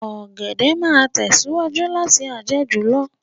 Ọ̀gẹ̀dẹ̀ máa tẹ̀síwájú láti a jẹ́ jù lọ